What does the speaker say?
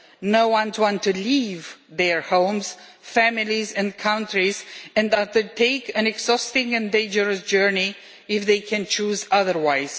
No one wants to leave their homes, families and countries and undertake an exhausting and dangerous journey if they can choose otherwise.